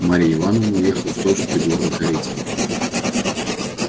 марья ивановна уехала в той же придворной карете